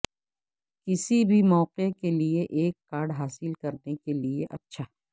کسی بھی موقع کے لئے ایک کارڈ حاصل کرنے کے لئے اچھا